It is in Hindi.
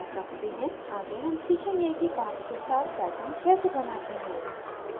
आगे हम सीखेंगे कि path के साथ pattern कैसे बनाते हैं